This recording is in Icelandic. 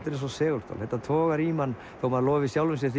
er eins og segulstál togar í mann þó maður lofi sjálfum sér